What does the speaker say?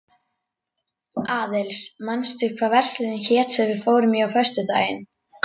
Aðils, manstu hvað verslunin hét sem við fórum í á föstudaginn?